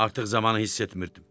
Artıq zamanı hiss etmirdim.